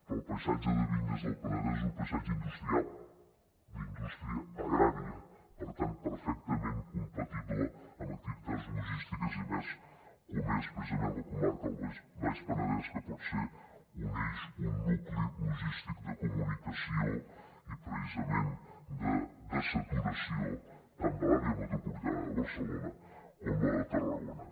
però el paisatge de vinyes del penedès és un paisatge industrial d’indústria agrària per tant perfectament compatible amb activitats logístiques i més com és precisament la comarca del baix penedès que pot ser un eix un nucli logístic de comunicació i de dessaturació tant de l’àrea metropolitana de barcelona com de la de tarragona